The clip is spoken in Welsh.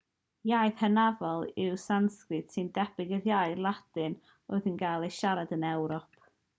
iaith hynafol yw sansgrit sy'n debyg i'r iaith ladin oedd yn cael ei siarad yn ewrop